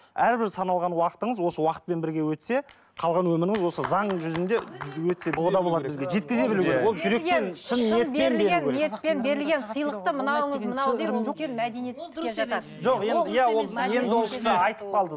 әрбір саналған уақытыңыз осы уақытпен бірге өтсе қалған өміріңіз осы заң жүзінде